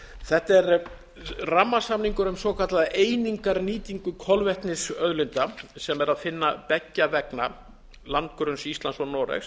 þetta er rammasamningur um svokallaða einingarnýtingu kolvetnisauðlinda sem er að finna beggja vegna landgrunns íslands og noregs